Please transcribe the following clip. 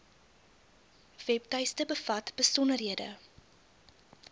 webtuiste bevat besonderhede